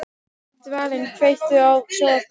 Dvalinn, kveiktu á sjónvarpinu.